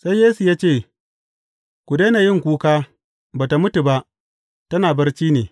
Sai Yesu ya ce, Ka daina yin kuka, ba tă mutu ba, tana barci ne.